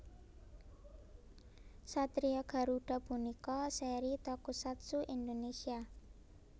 Satria Garuda punika seri tokusatsu Indonesia